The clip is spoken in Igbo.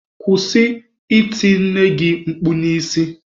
Kwụsị iti nne gị mkpu n'isi!.